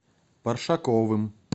паршаковым